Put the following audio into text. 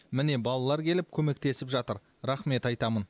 міне балалар келіп көмектесіп жатыр рахмет айтамын